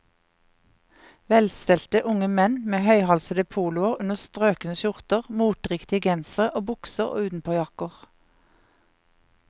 Velstelte unge menn med høyhalsede poloer under strøkne skjorter, moteriktige gensere og bukser og utenpåjakker.